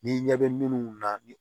Ni ɲɛ bɛ minnu na ni